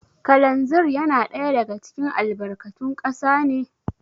Kalanzir yana ɗaya daga cikin albarkatun kasa ne?